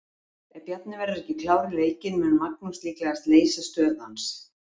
Ef Bjarni verður ekki klár í leikinn mun Magnús líklega leysa stöðu hans.